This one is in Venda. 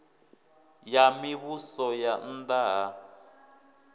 ya mivhuso ya nna ha